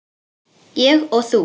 Ég og þú.